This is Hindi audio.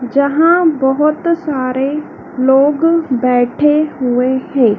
जहां बहोत सारे लोग बैठे हुए हैं।